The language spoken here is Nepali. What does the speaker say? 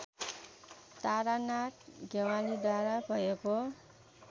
तारानाथ ज्ञवालीद्वारा भएको